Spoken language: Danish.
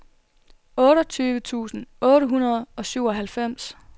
otteogtyve tusind otte hundrede og syvoghalvfems